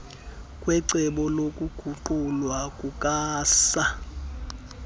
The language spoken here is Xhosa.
kwecebo lokuguqulwa kukasaa